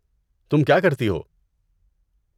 تم کیا کرتی ہو؟